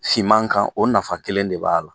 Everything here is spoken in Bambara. Siman kan o nafa kelen de b'a la.